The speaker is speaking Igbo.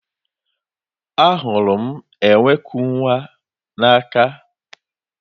Ahụrụ m enwe ku nwa ya n'aka.